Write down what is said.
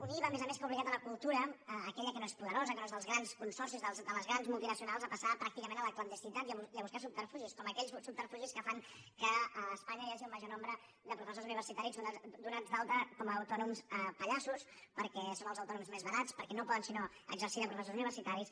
un iva a més a més que ha obligat la cultura aquella que no és poderosa que no és dels grans consorcis de les grans multinacionals a passar pràcticament a la clandestinitat i a buscar subterfugis com aquells subterfugis que fan que a espanya hi hagi el major nombre de professors universitaris donats d’alta com a autònoms pallassos perquè són els autònoms més barats perquè no poden si no exercir de professors universitaris